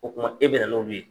O tuma e bɛna n'olu ye.